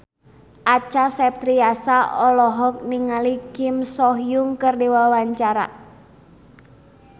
Acha Septriasa olohok ningali Kim So Hyun keur diwawancara